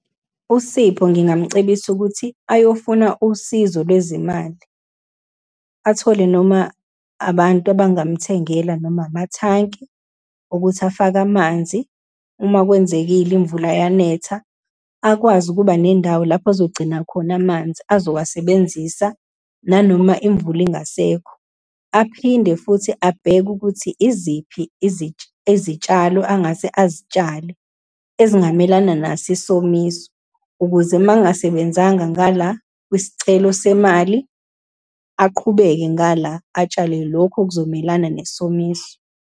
USipho ngingamcebisa ukuthi ayofuna usizo lwezimali, athole noma abantu abangamthengela, noma amathanki ukuthi afake amanzi uma kwenzekile imvula yanetha, akwazi ukuba nendawo lapho azogcina khona amanzi azowasebenzisa nanoma imvula ingasekho. Aphinde futhi abheke ukuthi iziphi izitshalo angase azitshale, ezingamelana naso isomiso ukuze uma engasebenzanga ngala, kwisicelo semali, aqhubeke ngala, atshale lokhu okuzomelana nesomiso.